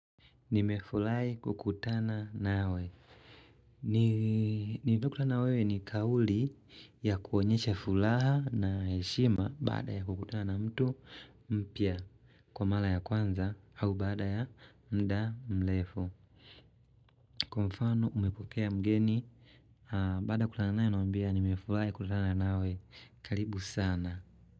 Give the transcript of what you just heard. Nimefurahi kukutana nawe. Nililokutana nawe ni kauli ya kuonyesha furaha na heshima baada ya kukutana na mtu mpya kwa mara ya kwanza au baada ya mda mrefu. Kwa mfano umepokea mgeni baada ya kutana naye unamwambia nimefurahi kukutana nawe. Karibu sana.